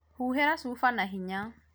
huhĩra cuba na hinya